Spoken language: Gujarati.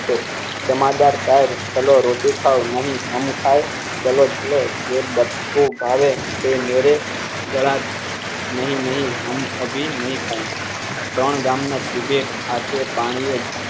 જમાદાર સાહેબ ચલો રોટી ખાવા નહિ હમ ખાયે ચાલો ચાલો બે બટકુ ભાવે તે મેરે નહીં નહીં અભી નહી ખાઈ ત્રણ ગામ ને તિબેટ આછે પાણીએ